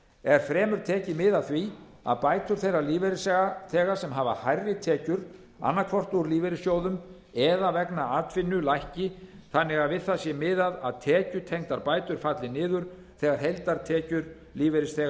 er fremur tekið mið af því að bætur þeirra lífeyrisþega sem hafa hærri tekjur annað hvort úr lífeyrissjóðum eða vegna atvinnu lækki þannig að við það sé miðað að tekjutengdar bætur falli niður þegar heildartekjur lífeyrisþega